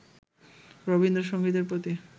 রবীন্দ্রসংগীতের প্রতি